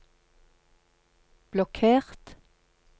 blokkert